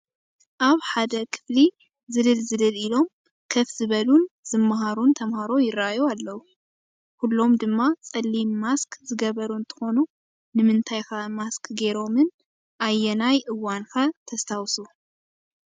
ኣብ ሓደ ክፍሊ ዝልል ዝልል ኢሎም ከፍ ዝበሉን ዝማሃሩን ተምሃሮ ይራኣዩ ኣለው፡፡ ኩሉም ድማ ፀሊም ማስክ ዝገበሩ እንትኾኑ ንምንታይ ከ ማስክ ጌሮምን ኣየናይ እዋን ከ ተስታውሱ?